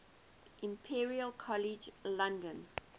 imperial college london